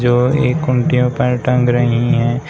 और एक खूंटी में पैंट टंग रहे है।